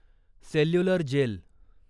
cellular gel